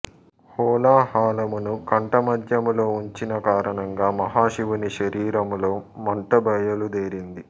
హాలాహలమును కంఠ మధ్యములో ఉంచిన కారణంగా మహాశివుని శరీరములో మంట బయలు దేరింది